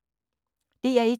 DR1